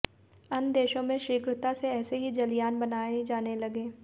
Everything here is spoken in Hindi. अन्य देशों में शीघ्रता से ऐसे ही जलयान बनाये जाने लगे